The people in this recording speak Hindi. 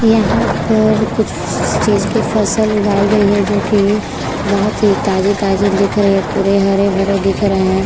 यहाँ पर कुछ चीज की फसल उगाई गयी है जो की बहुत ही ताज़ी ताजी दिख रही है पुरे हरे भरे दिख रहे।